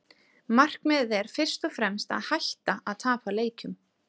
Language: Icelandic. Markmiðið er fyrst og fremst að hætta að tapa leikjum.